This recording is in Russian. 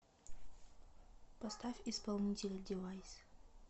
поставь исполнителя девайс